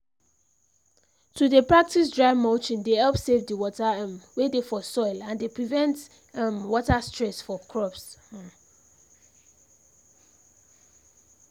to dey practise dry mulching dey help save the water um wey dey for soil and dey prevent um water stress for crops um